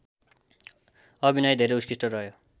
अभिनय धेरै उत्कृष्ट रह्यो